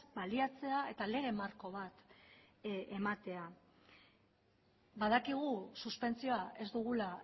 baliatzea eta lege marko bat ematea badakigu suspentsioa ez dugula